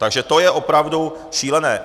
Takže to je opravdu šílené.